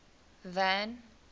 van